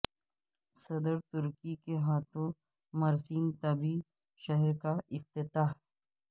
صدر ترکی کے ہاتھوں مرسین طبی شہر کا افتتاح